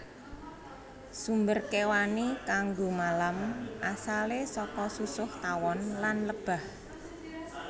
Sumber kéwani kanggo malam asalé saka susuh tawon lan lebah